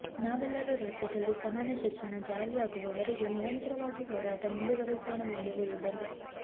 ನಾವೆಲ್ಲರೂ ರಾಜ್ಯದಲ್ಲಿ ಸಮಾನ ಶಿಕ್ಷಣ ಜಾರಿಯಾಗುವವರೆಗೆ ನಿರಂತರವಾಗಿ ಹೋರಾಟ ಮುಂದುವರಿಸೋಣವೆಂದು ಹೇಳಿದರು